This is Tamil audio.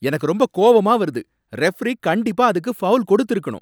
எனக்கு ரொம்ப கோவமா வருது, ரெஃப்ரி கண்டிப்பா அதுக்கு ஃபவுல் கொடுத்து இருக்கணும்.